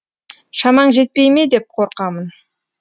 шамаң жетпей ме деп қорқамын